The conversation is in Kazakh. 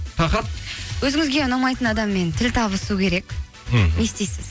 тақырып өзіңізге ұнамайтын адаммен тіл табысу керек мхм не істейсіз